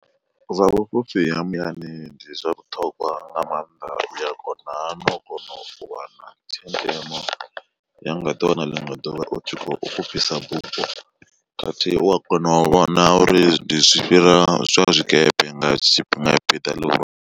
Zwa vhu fhufhi ha muyani ndi zwa vhuṱhongwa nga mannḓa uya kona no kona u wana tshenzhemo ya nga ḓi wana ḽiṅwe ḓuvha utshi kho fhufhisa bufho, khathihi u a kona u vhona uri ndi zwi fhira zwa zwikepe nga tshifhinga tshi piḓa ḽihulwane.